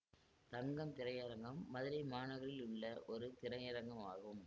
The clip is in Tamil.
தங்கம் திரையரங்கம் மதுரை மாநகரில் உள்ள ஒரு திரையரங்கம் ஆகும்